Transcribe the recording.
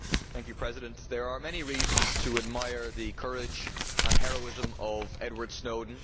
Mr President, there are many reasons to admire the courage and heroism of Edward Snowden.